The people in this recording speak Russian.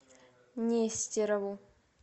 нестерову